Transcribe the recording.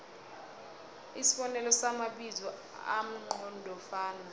isibonelo samabizo amqondofana